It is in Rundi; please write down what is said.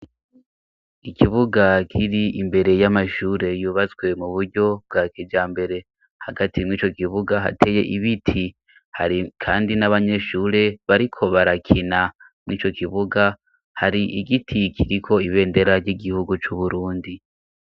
Ikibuga kiri imbere y'amashure yubatswe mu buryo bwa kijambere hagati mw'ico kibuga hateye ibiti har kandi n'abanyeshure bariko barakina mw'ico kibuga hari igiti kiriko ibendera ry'igihugu c'Uburundi.